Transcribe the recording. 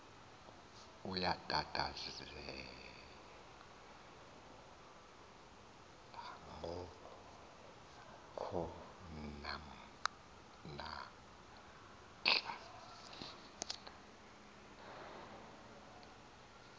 uyakhathazelca ngo konahla